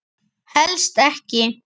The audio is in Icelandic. Helst ekki.